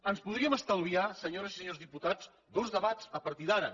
ens podríem estalviar senyores i senyors diputats dos debats a partir d’ara